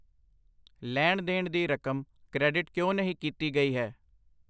ਲੈਣ ਦੇਣ ਦੀ ਰਕਮ ਕ੍ਰੈਡਿਟ ਕਿਉਂ ਨਹੀਂ ਕੀਤੀ ਗਈ ਹੈ?